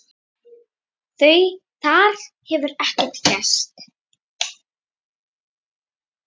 Þar hefur ekkert gerst.